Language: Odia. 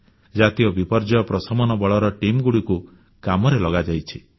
ଜାତୀୟ ବିପର୍ଯ୍ୟୟ ପ୍ରଶମନ ବଳର ଟିମ୍ ମାନଙ୍କୁ କାମରେ ଲଗାଯାଇଛି